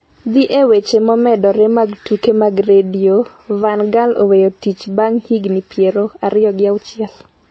Dhi e weche momedore mag Tuke mag Redio Van Gaal oweyo tich bang' higni piero ariyo gi auchiel